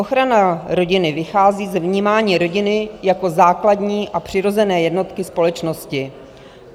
Ochrana rodiny vychází z vnímání rodiny jako základní a přirozené jednotky společnosti.